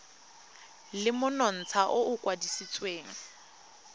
le monontsha o o kwadisitsweng